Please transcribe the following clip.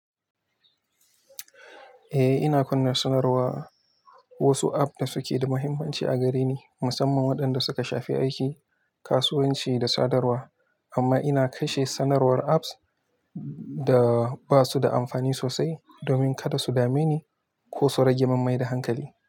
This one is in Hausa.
Eh, ina kunna sanarwar wasu app da suke da muhimmanci a gare ni, musamman waɗanda suka shafi aiki, kasuwanci da sadarwa. Amma ina kashe sanarwar apps da ba su da amfani sosai domin kada su dame ni ko su rage mim mai da hankali.